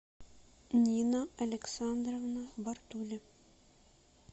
нина александровна бартули